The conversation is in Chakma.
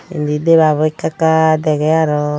inni debabo ekka ekka degey arow.